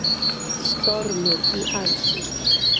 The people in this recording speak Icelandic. Stormur í aðsigi